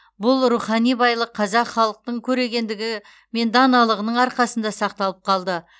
бұл рухани байлық қазақ халықтың көрегендігі мен даналығының арқасында сақталып қалды